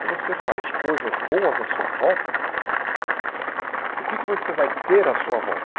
Se você faz coisas boas à sua volta, o que é que você vai ter à sua volta?